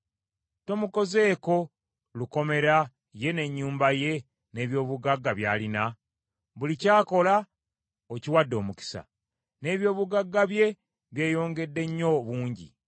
Tomukozeeko lukomera ye n’ennyumba ye, n’eby’obugagga by’alina? Buli ky’akola okiwadde omukisa; n’eby’obugagga bye byeyongedde nnyo obungi!